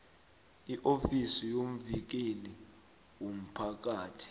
iofisi yomvikeli womphakathi